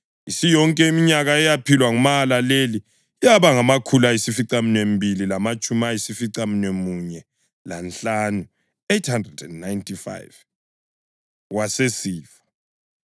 Isiyonke iminyaka eyaphilwa nguMahalaleli yaba ngamakhulu ayisificaminwembili lamatshumi ayisificamunwemunye lanhlanu (895), wasesifa.